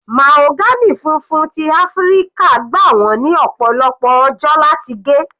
Mahagony funfun ti Áfíríkà gbà wọ́n ní ọ̀pọ̀lọpọ̀ ọjọ́ láti gé.